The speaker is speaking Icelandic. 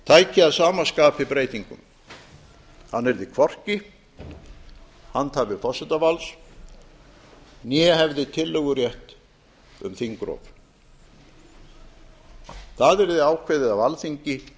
tæki að sama skapi breytingum hann yrði hvorki handhafi forsetavalds né hefði tillögurétt um þingrof það yrði ákveðið af alþingi